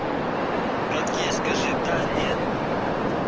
как есть скажи да нет